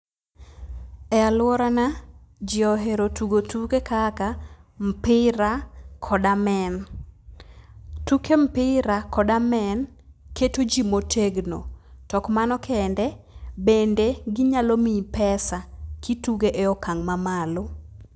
E aluorana jii ohero tugo tuke kaka mpira kod amen. Tuke mpira kod amen keto jii motegno. Tok mano kende, bende ginyalo miyi pesa kituge e okang' mamalo.